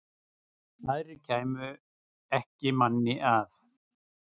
Aðrir kæmu ekki manni að.